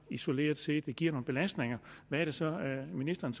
isoleret set giver nogle belastninger hvad er det så ministeren